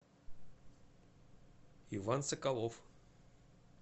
иван соколов